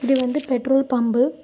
இது வந்து petrol pump .